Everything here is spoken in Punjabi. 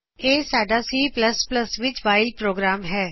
ਇਹ ਸਾਡਾ C ਵਿਚ ਵਾਇਲ ਪ੍ਰੋਗਰਾਮ ਹੈ